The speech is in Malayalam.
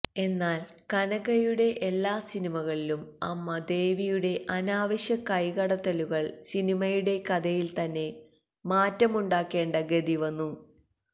എന്നാല് കനകയുടെ എല്ലാ സിനിമകളിലും അമ്മ ദേവിയുടെ അനാവശ്യ കൈകടത്തലുകള് സിനിമയുടെ കഥയില് തന്നെ മാറ്റമുണ്ടാക്കേണ്ട ഗതി വന്നു